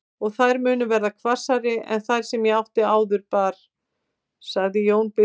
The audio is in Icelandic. Og þær munu verða hvassari en þær sem ég áður bar, sagði Jón biskup.